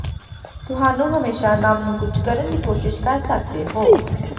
ਤੁਹਾਨੂੰ ਹਮੇਸ਼ਾ ਨਵ ਨੂੰ ਕੁਝ ਕਰਨ ਦੀ ਕੋਸ਼ਿਸ਼ ਕਰ ਸਕਦੇ ਹੋ